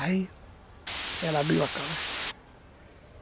Aí... Ela abriu a caixa.